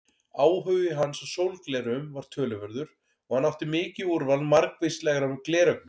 Áhugi hans á sólgleraugum var töluverður og hann átti mikið úrval margvíslegra gleraugna.